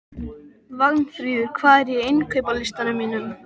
Vagnfríður, hvað er á innkaupalistanum mínum?